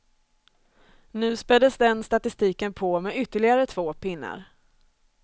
Nu späddes den statistiken på med ytterligare två pinnar.